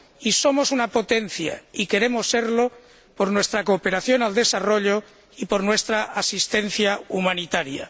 Y somos una potencia, y queremos serlo, por nuestra cooperación al desarrollo y por nuestra asistencia humanitaria.